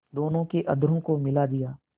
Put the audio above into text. दोनों के अधरों को मिला दिया